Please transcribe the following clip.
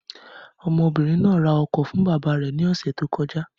Ọmọbìnrin náà ra ọkọ fún bàbá rẹ̀ ní ọ̀sẹ̀ tó kọjá.